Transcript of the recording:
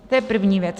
To je první věc.